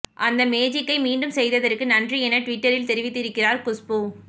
அந்த மேஜிக்கை மீண்டும் செய்ததற்கு நன்றி என ட்விட்டரில் தெரிவித்திருக்கிறார் குஷ்பூ